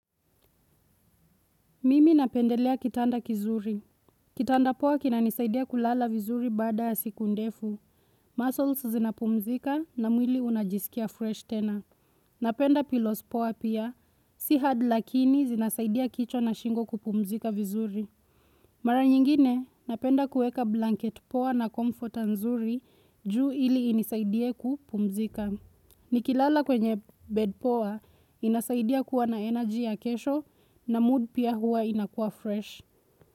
Mimi napendelea kitanda kizuri. Kitanda poa kinanisaidia kulala vizuri baada ya siku ndefu. Muscles zinapumzika na mwili unajisikia fresh tena. Napenda pillows poa pia, si hard lakini zinasaidia kichwa na shingo kupumzika vizuri. Mara nyingine, napenda kueka blanket poa na comforter nzuri juu ili inisaidie kupumzika. Nikilala kwenye bed pow inasaidia kuwa na energy ya kesho na mood pia huwa inakua fresh.